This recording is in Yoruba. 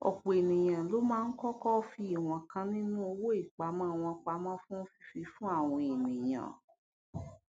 ọpọ ènìyàn ló máa ń kọkọ fi ìwọn kan nínú owó ìpamọ wọn pamọ fún fífi fún àwọn ènìyàn